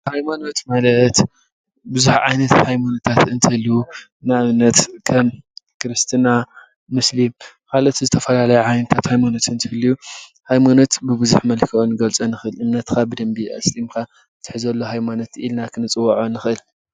ሃይማኖት ማለት ብዙሕ ዓይነት ሃይማኖታት እንትህልው ንኣብነት ከም ክርስትና፣ ሙስሊም ካልኦት ዝተፈላለዩ ዓይነታት ሃይማኖት እንትህልው ሃይማኖት ብቡዙሕ መልክዑ ክንገልፆ ንክእል፡፡ እምነትካ ብደንቢ ኣስጢምካ እትሕዘሉ ሃይማኖት ኢልና ክንፅውዖ ንክእል፡፡